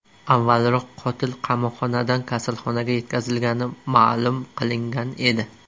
Avvalroq qotil qamoqxonadan kasalxonaga yetkazilgani ma’lum qilingan edi .